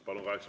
Palun!